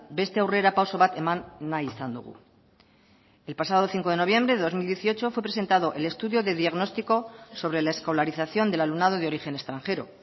beste aurrerapauso bat eman nahi izan dugu el pasado cinco de noviembre de dos mil dieciocho fue presentado el estudio de diagnóstico sobre la escolarización del alumnado de origen extranjero